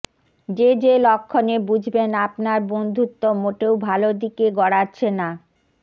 যে যে লক্ষণে বুঝবেন আপনার বন্ধুত্ব মোটেও ভালো দিকে গড়াচ্ছে না